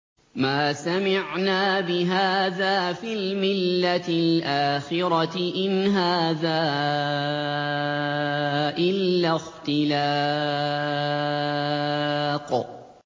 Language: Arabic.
مَا سَمِعْنَا بِهَٰذَا فِي الْمِلَّةِ الْآخِرَةِ إِنْ هَٰذَا إِلَّا اخْتِلَاقٌ